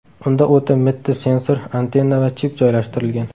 Unda o‘ta mitti sensor, antenna va chip joylashtirilgan.